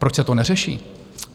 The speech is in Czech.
Proč se to neřeší?